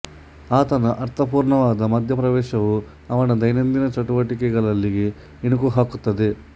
ಆತನ ಅರ್ಥಪೂರ್ಣವಾದ ಮಧ್ಯಪ್ರವೇಶವು ಅವರ ದೈನಂದಿನ ಚಟುವಟೆಕೆಗಳಿಗೆ ಇಣುಕು ಹಾಕುತ್ತದೆ